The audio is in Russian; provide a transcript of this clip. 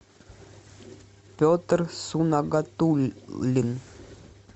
петр сунагатуллин